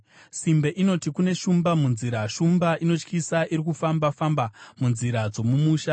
Simbe inoti, “Kune shumba kunzira, shumba inotyisa iri kufamba-famba munzira dzomumusha!”